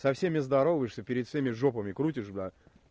со всеми здороваешься перед всеми жопами крутишь блядь